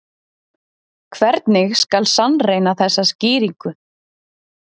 Hvernig skal sannreyna þessa skýringu?